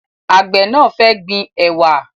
Àgbẹ̀ náà fẹ́ gbin ẹ̀wà